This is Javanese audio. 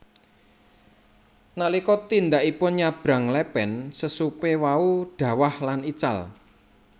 Nalika tindakipun nyabrang lepen sesupe wau dhawah lan ical